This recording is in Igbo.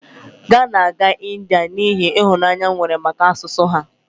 ga na-aga India n'ihi ịhụnanya m nwere maka asụsụ ha